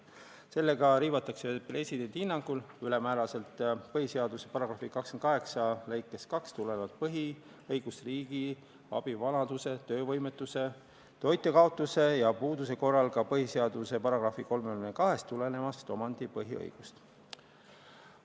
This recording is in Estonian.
Sellega riivatakse presidendi hinnangul ülemääraselt põhiseaduse § 28 lõikest 2 tulenevat põhiõigust riigi abile vanaduse, töövõimetuse, toitja kaotuse ja puuduse korral, samuti põhiseaduse §-st 32 tulenevat omandipõhiõigust.